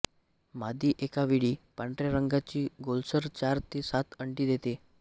मादी एकावेळी पांढऱ्या रंगाची गोलसर चार ते सात अंडी देते